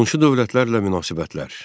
Qonşu dövlətlərlə münasibətlər.